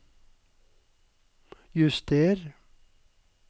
juster